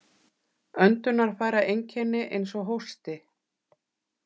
Öndunarfæraeinkenni eins og hósti.